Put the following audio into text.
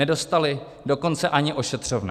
Nedostali dokonce ani ošetřovné.